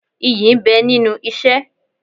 Iyì ń bẹ nínú isẹ́.